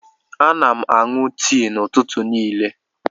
Ana m aṅụ tii n'ụtụtụ niile.